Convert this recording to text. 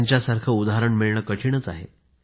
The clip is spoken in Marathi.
त्यांच्या सारखं उदाहरण मिळणं कठीण आहे